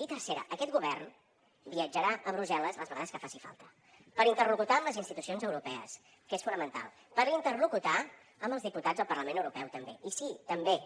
i tercera aquest govern viatjarà a brussel·les les vegades que faci falta per interlocutar amb les institucions europees que és fonamental per interlocutar amb els diputats del parlament europeu també i sí també